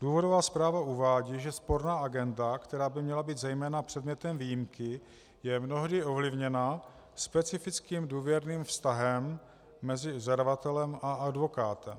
Důvodová zpráva uvádí, že sporná agenda, která by měla být zejména předmětem výjimky, je mnohdy ovlivněna specifickým důvěrným vztahem mezi zadavatelem a advokátem.